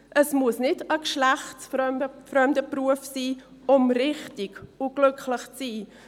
Es muss kein geschlechtsfremder Beruf sein, um richtig und glücklich zu sein.